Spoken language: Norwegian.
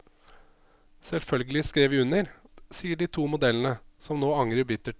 Selvfølgelig skrev vi under, sier de to modellene, som nå angrer bittert.